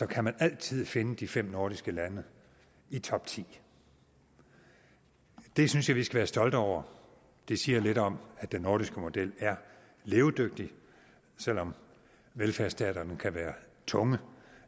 kan man altid finde de fem nordiske lande i topti det synes jeg vi skal være stolte over det siger lidt om at den nordiske model er levedygtig selv om velfærdsstaterne kan være tunge